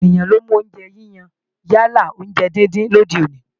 Ọ̀pọ̀ ènìyàn ló ń mú oúnjẹ yíyan yálà oúnjẹ díndín lòde òní